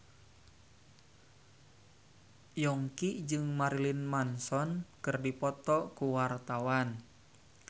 Yongki jeung Marilyn Manson keur dipoto ku wartawan